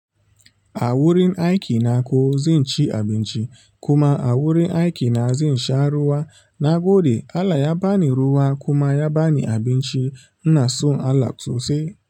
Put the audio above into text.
Awurin aikina ko zanci abinci kuma awurin aiki na zai sha ruwa. Na gode, Allah ya bani ruwa kuma ya bani abinci. Ina son Allah so sosai.